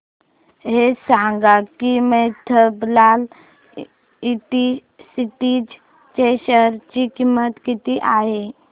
हे सांगा की मफतलाल इंडस्ट्रीज च्या शेअर ची किंमत किती आहे